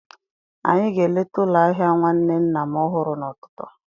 Anyị ga-eleta ụlọ ahịa nwanne nna m ọhụrụ n'ụtụtụ.